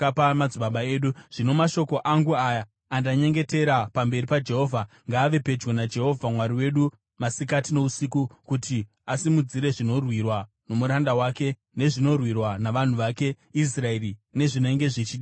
Zvino mashoko angu aya, andanyengetera pamberi paJehovha, ngaave pedyo naJehovha Mwari wedu masikati nousiku, kuti asimudzire zvinorwirwa nomuranda wake nezvinorwirwa navanhu vake Israeri nezvinenge zvichidiwa zuva nezuva,